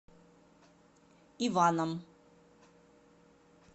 иваном